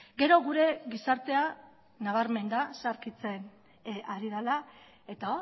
gero gure gizartea nabarmen da zaharkitzen ari dela eta